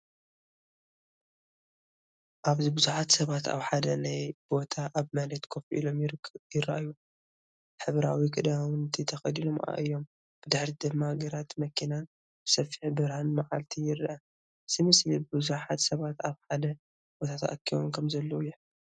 ኣብዚ ብዙሓት ሰባት ኣብ ሓደ ናይ ቦታ ኣብ መሬት ኮፍ ኢሎም ይረኣዩ። ሕብራዊ ክዳውንቲ ተኸዲኖም እዮም። ብድሕሪት ድማ ግራትን መኪናን ብሰፊሕ ብርሃን መዓልቲ ይርአ። እዚ ምስሊ ብዙሓት ሰባት ኣብ ሓደ ቦታ ተኣኪቦም ከምዘለዉ ይሕብር።